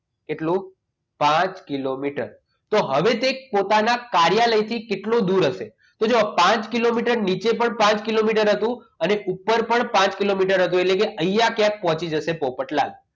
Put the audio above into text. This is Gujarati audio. એટલું પાંચ કિલોમીટર હવે તે પોતાના કાર્યાલય કેટલો દૂર હશે? તો જુઓ પાંચ કિલોમીટર નીચે પણ પાંચ કિલોમીટર હતું અને ઉપર પણ પાંચ કિલોમીટર હતું એટલે કે અહીંયા તે પહોંચી જશે પોપટલાલ